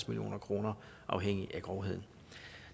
million kroner afhængigt af grovheden